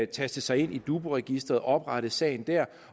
taste sig ind i dubu registeret og oprette sagen der